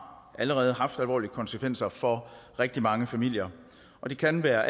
allerede haft alvorlige konsekvenser for rigtig mange familier og det kan være